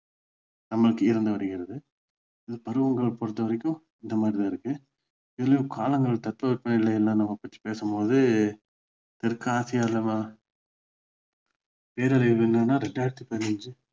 நமக்கு இருந்து வருகிறது பருவங்கள் பொறுத்த வரைக்கும் இந்த மாதிரி தான் இருக்கு இதுலையும் காலங்கள் தட்பவெப்ப நிலை என்னன்னு நம்ம பற்றி பேசும் போது தெற்கு ஆசியால வ~ பேரழிவு என்னன்னா இரண்டாயிரத்தி பதினைஞ்சு